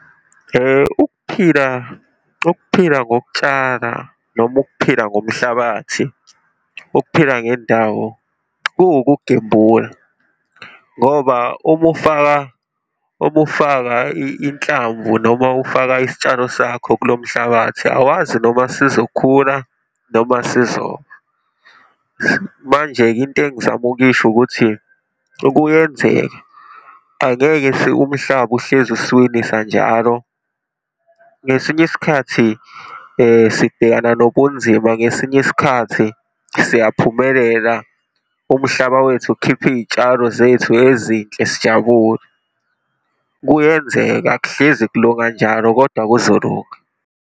Ukuphila, ukuphila ngokutshala noma ukuphila ngomhlabathi, ukuphila ngendawo kuwukugembula, ngoba uma ufaka, uma ufaka inhlamvu noma ufaka isitshalo sakho kulo mhlabathi, awazi noma sizokhula noma sizofa. Manje-ke, into engizama ukuyisho ukuthi ukuyenzeka, angeke umhlaba uhlezi usuwinisa njalo. Ngesinye isikhathi sibhekana nobunzima, ngesinye isikhathi siyaphumelela, umhlaba wethu ukhiphe iy'tshalo zethu ezinhle sijabule. Kuyenzeka akuhlezi kuloku kanjalo kodwa kuzolunga.